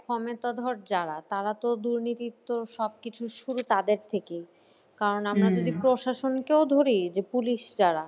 ক্ষমতাধর যারা তারাতো দুর্নীতির তো সব কিছু শুরু তাদের থেকেই। কারণ আমরা যদি প্রশাসনকেও ধরি যে police যারা,